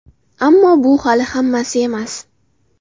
Ammo bu hali hammasi emas!